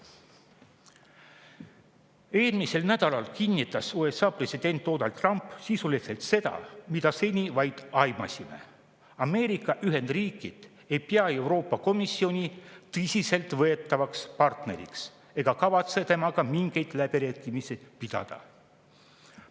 Eelmisel nädalal kinnitas USA president Donald Trump sisuliselt seda, mida me seni vaid aimasime: Ameerika Ühendriigid ei pea Euroopa Komisjoni tõsiselt võetavaks partneriks ega kavatse temaga mingeid läbirääkimisi pidada.